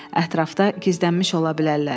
Ətrafda gizlənmiş ola bilərlər.